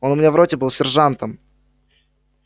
он у меня в роте был сержантом